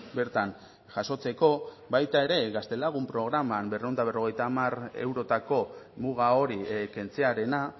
bertan jasotzeko baita ere gaztelagun programa berrehun eta berrogeita hamar eurotako muga hori kentzearena